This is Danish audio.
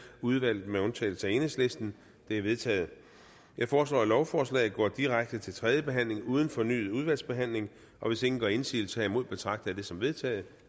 udvalget med undtagelse af enhedslisten de er vedtaget jeg foreslår at lovforslaget går direkte til tredje behandling uden fornyet udvalgsbehandling hvis ingen gør indsigelse herimod betragter jeg det som vedtaget